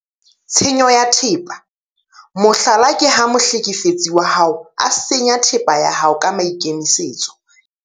Tshenyo ya thepa- mohlala ke ha mohlekefetsi wa hao a senya thepa ya hao ka maikemisetso ntle le tumello ya hao.